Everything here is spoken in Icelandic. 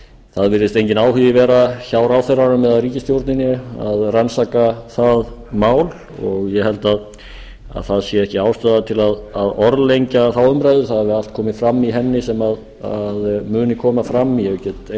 það virðist enginn áhugi vera hjá ráðherranum eða ríkisstjórninni að rannsaka það mál og ég held að það sé ekki ástæða til að orðlengja þá umræðu það hefur allt komið fram í henni sem muni koma fram ég get